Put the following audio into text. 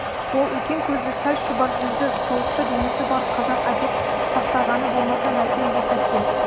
ол үлкен көзді сәл шұбар жүзді толықша денесі бар қазақ әдеп сақтағаны болмаса мәкен бұл сәтте